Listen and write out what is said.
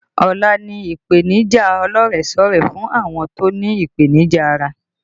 Ọ̀la ni ìdíje ọlọ́rẹ̀sọ́rẹ̀ẹ́ fún àwọn tó ní ìpènìjà ara